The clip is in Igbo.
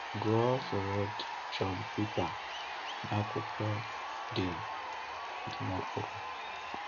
Gụọ foreword John Piper n’akwụkwọ dị dị n’okpuru.